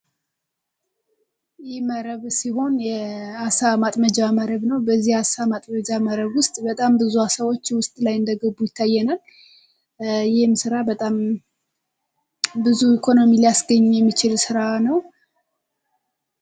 ይህ መረብ ሲሆን የአሳ ማጥመጃ መረብ ነው። በዚህ አሳ ማጥመጃ መረብ ውስጥ በጣም ብዙ አሳዎች ውስጥ ላይ እንደገቡ ይታየናል ይህም ስራ በጣም ብዙ ኢኮኖሚ ሊያስገኘ የሚችል ስራ ነው።